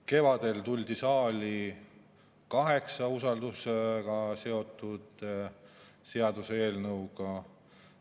Kevadel tuldi saali kaheksa usaldusega seotud seaduseelnõuga.